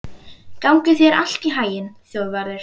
Gangi þér allt í haginn, Þjóðvarður.